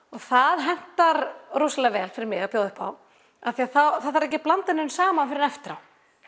það hentar rosalega vel fyrir mig að bjóða upp á því þá þarf ekki að blanda neinu saman fyrr en eftir á